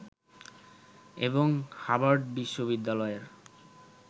এবং হাভার্ড বিশ্ববিদ্যালয়ের